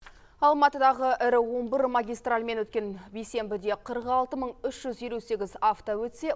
алматыдағы ірі он бір магистральмен өткен бейсенбіде қырық алты мың үш жүз елу сегіз авто өтсе